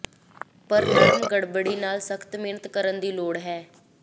ਪਰ ਨਰਮ ਗੜਬੜੀ ਨਾਲ ਸਖ਼ਤ ਮਿਹਨਤ ਕਰਨ ਦੀ ਲੋੜ ਹੈ